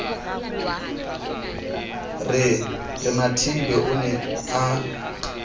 re mathibe o ne a